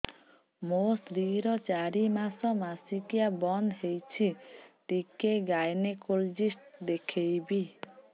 ମୋ ସ୍ତ୍ରୀ ର ଚାରି ମାସ ମାସିକିଆ ବନ୍ଦ ହେଇଛି ଟିକେ ଗାଇନେକୋଲୋଜିଷ୍ଟ ଦେଖେଇବି